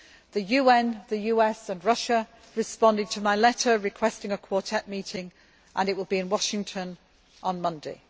The UN, the US and Russia responded to my letter requesting a Quartet meeting, which will take place in Washington on Monday.